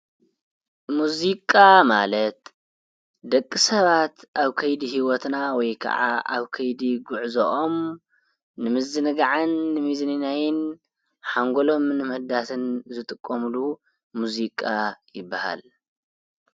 ሙዚቃ ማለት ደቂ ሰባት ኣብ ከይዲ ህይወትና ወይ ከዓ ኣብ ከይዲ ጉዕዘኦም ንምዝንጋዕን ንምዝንናይን ሓንጎሎምን ንምሕዳስን ዝጥቀሙሉ ሙዚቃ ይብሃል።